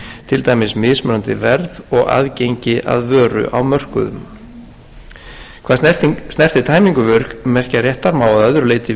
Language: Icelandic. til dæmis mismunandi verð og aðgengi að vöru á mörkuðum hvað snertir tæmingu vörumerkjaréttar má að öðru leyti